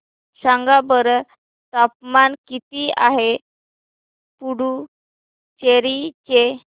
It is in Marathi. सांगा बरं तापमान किती आहे पुडुचेरी चे